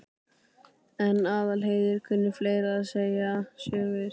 En Aðalheiður kunni fleira en segja sögur.